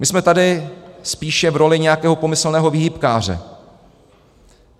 My jsme tady spíše v roli nějakého pomyslného výhybkáře.